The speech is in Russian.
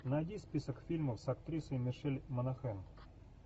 найди список фильмов с актрисой мишель монахэн